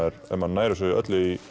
ef maður nær þessu öllu í